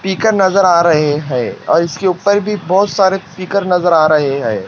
पीकर नजर आ रहे हैं और इसके ऊपर भी बहोत सारे पीकर नजर आ रहे हैं।